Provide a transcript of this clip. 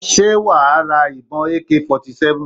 Ṣé wà á sra ìbọn AK 47?